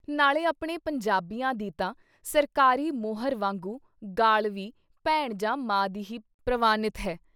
ਨਾਲੇ ਆਪਣੇ ਪੰਜਾਬੀਆਂ ਦੀ ਤਾਂ ਸਰਕਾਰੀ ਮੋਹਰ ਵਾਂਗੂ ਗਾਲ੍ਹ ਵੀ “ਭੈਣ ਜਾਂ ਮਾਂ ਦੀ ” ਹੀ ਪ੍ਰਵਾਨਿਤ ਹੈ।